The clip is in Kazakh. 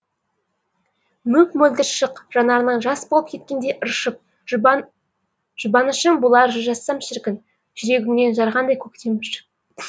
мөп мөлдір шық жанарыңнан жас болып кеткенде ыршып жұбанышың болар жыр жазсам шіркін жүрегіңнен жарғандай көктем бүршік